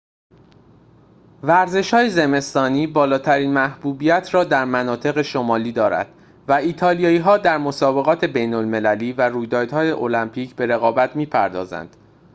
ورزش‌های زمستانی بالاترین محبوبیت را در مناطق شمالی دارد و ایتالیایی‌ها در مسابقات بین‌المللی و رویدادهای المپیک به رقابت می‌پردازند